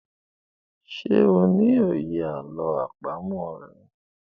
ṣe o ní òye àlọ́ àpamọ̀ rẹ?